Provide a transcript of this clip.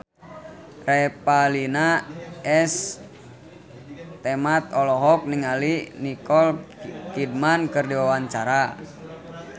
Revalina S. Temat olohok ningali Nicole Kidman keur diwawancara